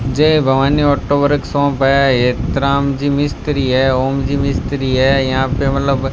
जय Bhavani auto workshop है हेतराम जी मिस्त्री है ओम जी मिस्त्री है यहां पे मतलब --